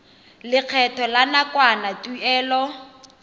lekgetho la nakwana tuelo